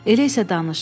Elə isə danış.